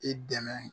I dɛmɛ